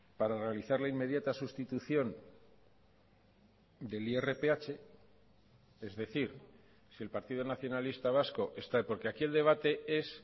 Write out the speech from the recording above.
para realizar la inmediata sustitución del irph es decir si el partido nacionalista vasco está porque aquí el debate es